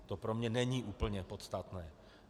To pro mě není úplně podstatné.